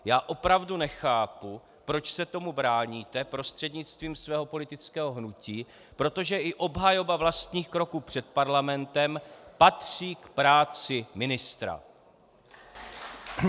Já opravdu nechápu, proč se tomu bráníte prostřednictvím svého politického hnutí, protože i obhajoba vlastních kroků před Parlamentem patří k práci ministra.